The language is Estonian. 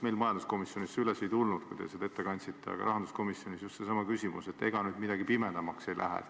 Meil majanduskomisjonis see teema üles ei kerkinud, kui te seda eelnõu ette kandsite, aga rahanduskomisjonis tekkis just seesama küsimus, et ega nüüd midagi pimedamaks ei lähe.